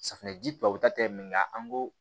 Safinɛji tubabuw ta tɛ nka an ko